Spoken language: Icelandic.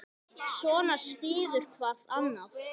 Svona styður hvað annað.